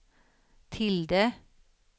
tilde